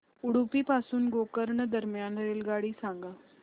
उडुपी पासून गोकर्ण दरम्यान रेल्वेगाडी सांगा